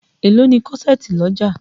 Èló ni kọ́ṣẹ̀ẹ̀tì lọ́jà?